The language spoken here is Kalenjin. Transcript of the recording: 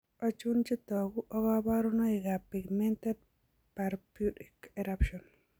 Achon chetogu ak kaborunoik ab Pigmented purpuric eruption